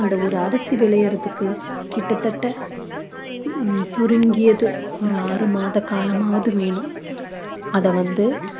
அந்த ஒரு அரிசி விளையறதுக்கு கிட்டத்தட்ட ஹம் சுருங்கியது ஒரு ஆறு மாத காலமாவது வேணும் அத வந்து